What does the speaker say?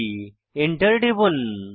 Enter টিপুন